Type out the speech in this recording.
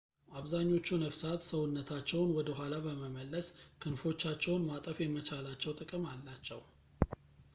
አብዛኞቹ ነፍሳት ሰውነታቸውን ወደኋላ በመመለስ ክንፎቻቸውን ማጠፍ የመቻላቸው ጥቅም አላቸው